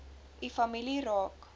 u familie raak